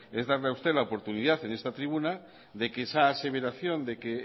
es darle a usted la oportunidad en esta tribuna de que esa aseveración de que